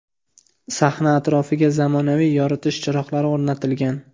Sahna atrofiga zamonaviy yoritish chiroqlari o‘rnatilgan.